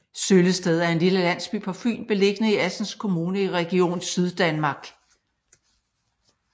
Søllested er en lille landsby på Fyn beliggende i Assens Kommune i Region Syddanmark